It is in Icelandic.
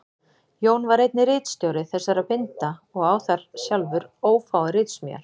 Jón var einnig ritstjóri þessara binda og á þar sjálfur ófáar ritsmíðar.